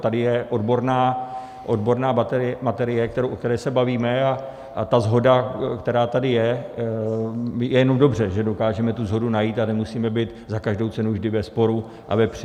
Tady je odborná materie, o které se bavíme, a ta shoda, která tady je, je jenom dobře, že dokážeme tu shodu najít a nemusíme být za každou cenu vždy ve sporu a ve při.